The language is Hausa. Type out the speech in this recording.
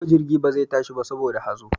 Yau jirgi ba za ta tashi ba saboda hazo.